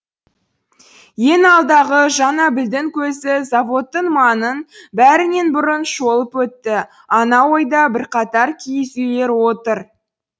ең алдағы жанабілдің көзі заводтың маңын бәрінен бұрын шолып өтті анау ойда бірқатар киіз үйлер отыр